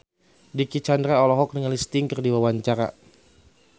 Dicky Chandra olohok ningali Sting keur diwawancara